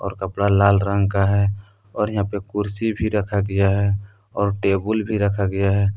कपड़ा लाल रंग का है और यहां पे कुर्सी भी रखा गया है और टेबुल भी रखा गया है।